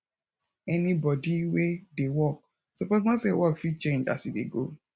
anybodi wey dey work soppose know say work fit change as e dey go